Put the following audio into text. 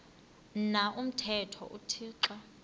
na umthetho uthixo